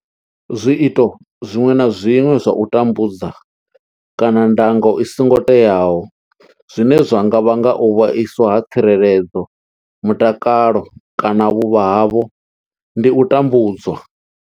Zwiito zwiṅwe na zwiṅwe zwa u tambudza kana ndango i songo teaho zwine zwa nga vhanga u vhaiswa ha tsireledzo, mutakalo kana vhuvha havho ndi u tambudzwa.